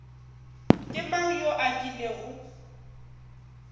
ke mang yo a kilego